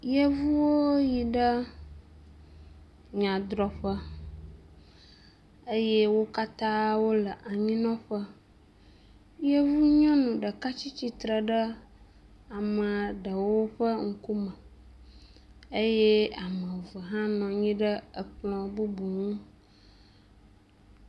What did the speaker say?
Yevuwo yiɖe nyadrɔƒe eye wokatã wóle anyinɔƒe yevu nyɔnu ɖeka tsítsitsre ɖe amaɖewo ƒe ŋkume eye ameve bubu hã nɔnyi ɖe ekplɔ bubu ŋu